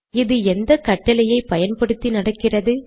இது எந்த கட்டளையை பயன்பத்தி நடக்கிறது